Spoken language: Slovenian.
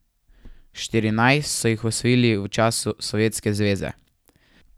Štirinajst so jih osvojili v času Sovjetske zveze.